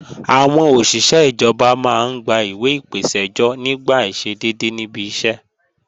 Àwọn òṣìṣé ìjọba máa ń gba ìwẹ̀ ìpèsẹ́jọ́ nígbà àìṣedédé níbi iṣẹ́